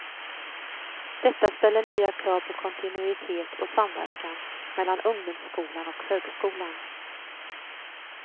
Detta ställer nya krav på kontinuitet och samverkan mellan ungdomsskolan och högskolan.